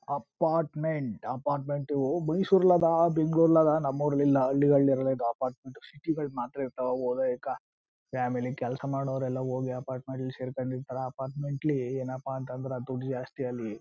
Apartment apartment Mysore ಅಲ್ಲಿ ಅದ ಬೆಂಗಳೂರು ಅಲ್ಲಿ ಅದ ನಮ ಊರಲ್ಲಿ ಇಲ್ಲ. ಹಳ್ಳಿಗಳ್ ಅಲ್ಲಿ ಇರಲ್ಲ ಹಿಂಗ ಅಪಾರ್ಟ್ಮೆಂಟ್ ಸಿಟಿ ಗಳಲ್ಲಿ ಮಾತ್ರ ಇರ್ತವ. ಓದ ಹೈಕ ಫ್ಯಾಮಿಲಿ ಕೆಲಸ ಮಾಡವರು ಎಲ್ಲ ಹೋಗಿ ಅಪಾರ್ಟ್ಮೆಂಟ್ ಲ್ಲಿ ಸೇರ್ಕೊಂಡಿರ್ತರ. ಅಪಾರ್ಟ್ಮೆಂಟ್ ಲ್ಲಿ ಏನಪಾ ಅಂದ್ರ ದುಡ್ದು ಜಾಸ್ತಿ ಅಲ್ಲಿ.